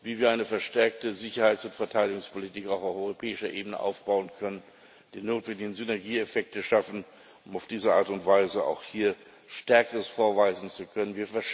wie wir eine verstärkte Sicherheits und Verteidigungspolitik auch auf europäischer Ebene aufbauen können, die notwendigen Synergieeffekte schaffen, um auf diese Art und Weise auch hier Stärkeres vorweisen zu können.